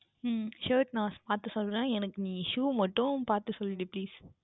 உம் Shirt நான் பார்த்து சொல்லுகின்றேன் எனக்கு நீ Shoe பார்த்து சொல் டீ Please